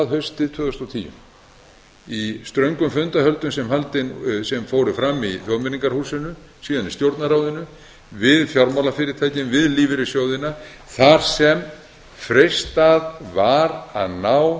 haustið tvö þúsund og tíu í ströngum fundarhöldum sem fóru fram í þjóðmenningarhúsinu síðan í stjórnarráðinu við fjármálafyrirtækin við lífeyrissjóðina þar sem freistað var að ná